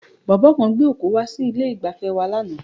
Bọ̀bọ́ kan gbé òkú wá sí ilé-ìgbafẹ́ wa lánàá.